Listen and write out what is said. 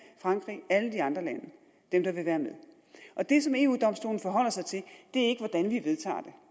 frankrig og alle de andre lande der vil være med og det som eu domstolen forholder sig til er ikke hvordan vi vedtager